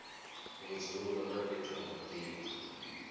vhudzulo na fhethu ha mabindu